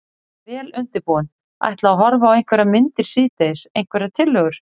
Vel undirbúinn. ætla að horfa á einhverjar myndir síðdegis, einhverjar tillögur?